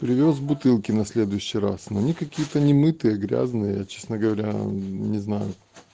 привёз бутылки на следующий раз мне какие-то немытые грязные честно говоря не знаю